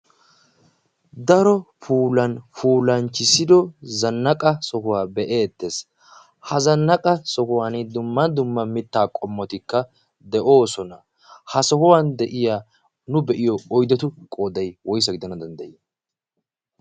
daro pulan pulanchchissido zannaqa sohuwaa be'etees ha zannaqa sohuwan dumman dumma mittaa qommotikka de'oosona ha sohuwan de'iya nu be'iyo oydetu qooday woysa gidana danddayii